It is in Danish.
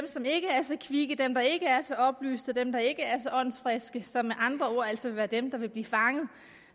er så kvikke dem der ikke er så oplyste dem der ikke er så åndsfriske altså er dem der vil blive fanget